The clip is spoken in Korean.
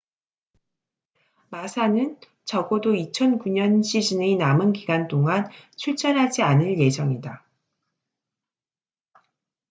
마사massa는 적어도 2009년 시즌의 남은 기간 동안 출전하지 않을 예정이다